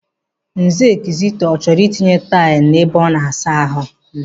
Nze Kizito, ọ chọọrọ itinye taịlụ n'ebe ọ na-asa ahụ mma.